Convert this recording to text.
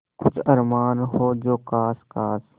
कुछ अरमान हो जो ख़ास ख़ास